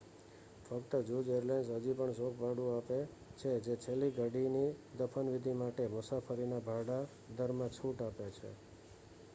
ફક્ત જૂજ એરલાઇન્સ હજી પણ શોક ભાડું આપે છે જે છેલ્લી ઘડીની દફન વિધિ માટે મુસાફરીના ભાડા દરમાં છૂટ આપે છે